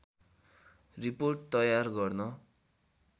report तयार गर्न